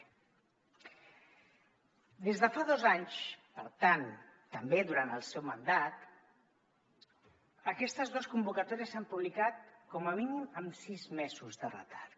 des de fa dos anys per tant també durant el seu mandat aquestes dos convocatòries s’han publicat com a mínim amb sis mesos de retard